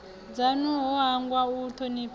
dzanu no hangwa u thonifha